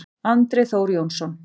Andri Þór Jónsson